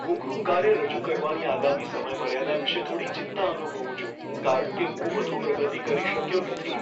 હું ગૃહકાર્ય રજૂ કરવાની આગામી સમયમર્યાદા વિશે થોડી ચિંતા અનુભવું છું કારણ કે હું વધુ પ્રગતિ કરી શક્યો નથી.